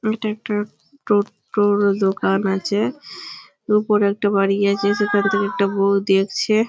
এটা একটা খুব বড় দোকান আছে ওপরে একটা বাড়ি আছে সেইখান থেকে একটা বৌ দেখছে--